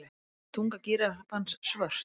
Er tunga gíraffans svört?